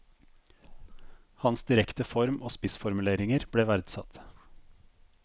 Hans direkte form og spissformuleringer ble verdsatt.